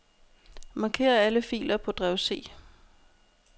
Marker alle filer på drev C.